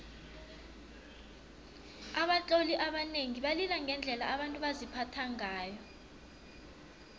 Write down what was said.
abatloli abanengi balila ngendlela abantu baziphatha ngayo